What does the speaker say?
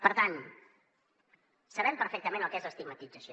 per tant sabem perfectament el que és l’estigmatització